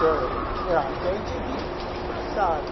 Ah que a gente via passar.